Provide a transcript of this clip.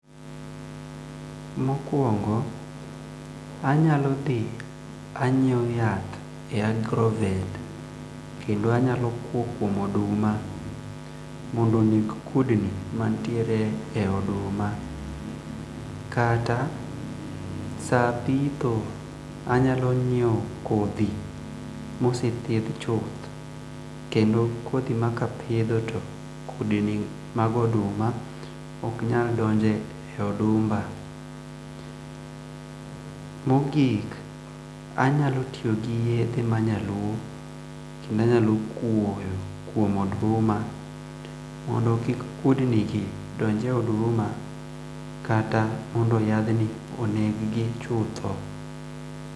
Mokwong'o anyalodhi anyieo yath e agrovet kendo anyalo kwo kwom oduma mondo oneg kudni ma ntie e duma kata saa pitho anyalo nyieo kodhi mosethieth chuth kendo kothi ma kapitho to kudni mag oduma ok nyal donje e odumba mogik anyalo tiyo gi yethe ma nyaluo kendo nyalo kwoyo kwom oduma mondo kik kudni gi donje oduma ata mondo jathni okethgi chutho.